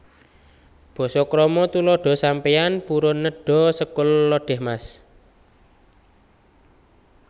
Basa KramaTuladha Sampeyan purun nedha sekul lodèh Mas